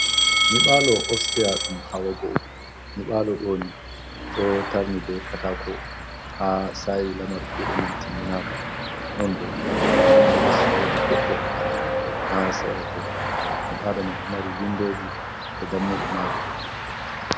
Nyiɓalo opstia ɗum hawa goo, nyibalo ɗo ni ɗo tarni be katako, ha sayi lamar kuɗe man timminaka, non bo ha les wodi goɗɗo ha serato nyibalo man ɗo mari windoji e dammuɗe majum.